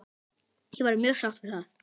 Ég verð mjög sátt við það!